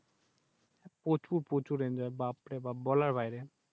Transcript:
প্রচুর প্রচুর Enjoy বাপ রে বাপ বলার বাইরে।